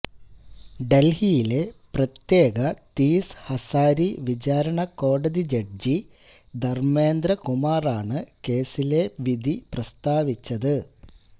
ഡല്ഹിയിലെ പ്രത്യേക തീസ് ഹസാരി വിചാരണക്കോടതി ജഡ്ജി ധര്മേന്ദ്രകുമാറാണ് കേസിലെ വിധി പ്രസ്താവിച്ചത്